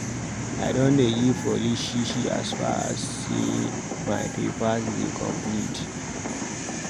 I no dey give police shi shi as far as sey my papers dey complete.